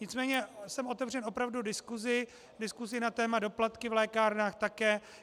Nicméně jsem otevřen opravdu diskusi, diskusi na téma doplatky v lékárnách také.